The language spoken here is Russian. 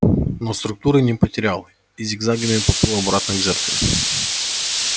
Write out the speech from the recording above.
но структуры не потерял и зигзагами поплыл обратно к жертве